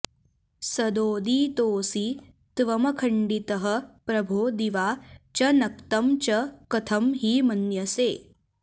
सदोदितोऽसि त्वमखण्डितः प्रभो दिवा च नक्तं च कथं हि मन्यसे